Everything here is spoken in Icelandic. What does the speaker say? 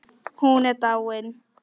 Hún er dáin.